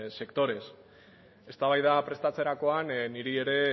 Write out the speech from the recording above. sectores eztabaida prestatzerakoan niri ere